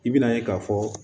I bɛna ye k'a fɔ